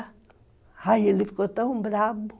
Aí ele ficou tão bravo.